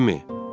Jimmy!